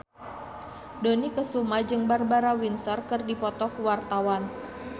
Dony Kesuma jeung Barbara Windsor keur dipoto ku wartawan